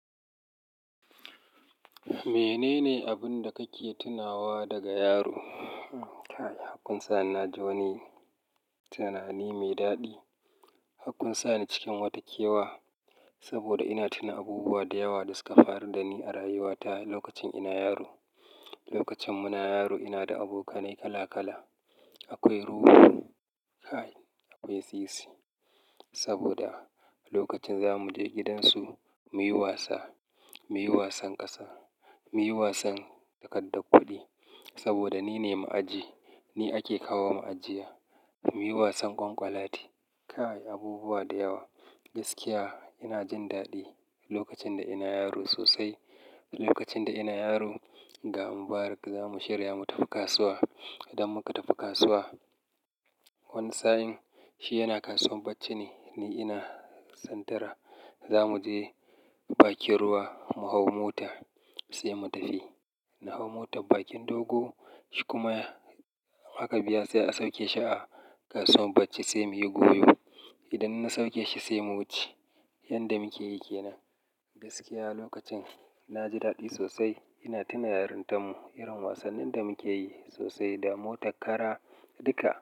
Menene abun da kake tunawa daga yaro? Hakkin sa na ji wani tunani mai daɗi. Hakkun sa ni cikin wata kewa, saboda ina tuna abubuwa da yawa da suka faru da ni a rayuwata lokacin ina yaro. Lokacin muna yaro ina da abokanai kala kala. Akwai Ruhu, akwai Sisi. Saboda lokacin za mu je gidansu muyi wasa, muyi wasan ƙasa, muyi wasan takardar kuɗi. Saboda nine ma'aji, ni ake kawo ma'ajiya. Muyi wasan ƙwanƙwalwlati kay! Abubuwa da yawa. Gaskiya ina jin daɗi lokacin da ina yaro sosai. Lokacin da ina yaro ga Mubarak za mu shirya mu tafi kasuwa. Idan muka tafi kasuwa, wani sa'in shi yana kasuwar bacce ne, ni ina santara za mu je bakin ruwa mu hau mota sai mu tafi. Na hau mota bakin dogo, shi kuma haka biya sai a sauke shi a kasuwar bacci sai muyi goyo. Idan na sauke shi sai mu wuce. Yanda muke yi ke nan. Gaskiya lokacin na ji daɗi sosai. Ina tuna yarintan mu, irin wasannin da muke yi sosai da mota kara duka.